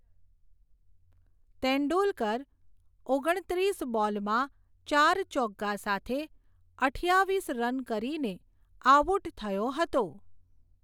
તેંડુલકર ઓગણત્રીસ બોલમાં, ચાર ચોગ્ગા સાથે, અઠયાવિસ રન કરીને, આઉટ થયો હતો.